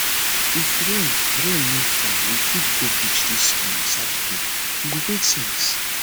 if rain rain no fall we fit go beach dis um saturday e go make sense